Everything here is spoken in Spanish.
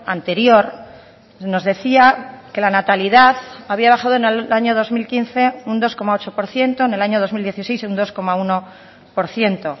anterior nos decía que la natalidad había bajado en el año dos mil quince un dos coma ocho por ciento en el año dos mil dieciséis un dos coma uno por ciento